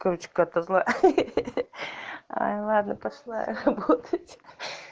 короче какая то злая хи хи хи ладно пошла работать